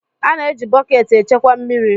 A na-eji bọket echekwa mmiri.